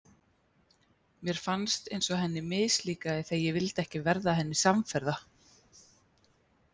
Mér fannst eins og henni mislíkaði þegar ég vildi ekki verða henni samferða.